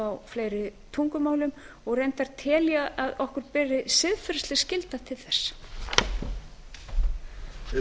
á fleiri tungumálum reyndar tel ég að okkur beri siðferðisleg skylda til þess